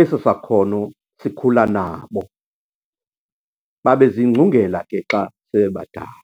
eso sakhono sikhula nabo, babe zingcungela ke xa sebebadala.